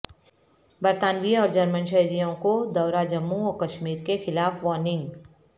برطانوی اور جرمن شہریوں کو دورہ جموں و کشمیر کے خلاف وارننگ